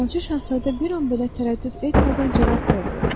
Balaca Şahzadə bir an belə tərəddüd etmədən cavab verdi.